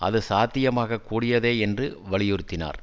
அது சாத்தியமாக கூடியதே என்று வலியுறுத்தினார்